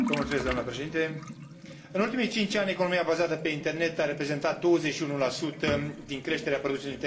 În ultimii cinci ani, economia bazată pe internet a reprezentat 21 din creșterea produsului intern brut în statele dezvoltate.